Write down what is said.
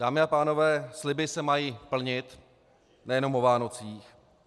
Dámy a pánové, sliby se mají plnit nejenom o Vánocích.